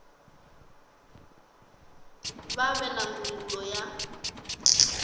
vha vhe na ndangulo ya